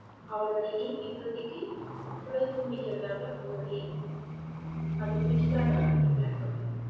அவளோட aim இப்போதைக்கு, twelfth முடிக்கிறதாக அவளோட aim அது முடிச்சிட்டாதான் அடுத்து plan பண்ணணும்